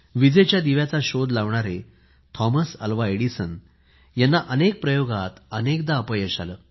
विजेच्या दिव्याचा शोध लावणारे थॉमस अल्वा एडिसन यांना आपल्या अनेक प्रयोगात अनेकदा अपयश आलं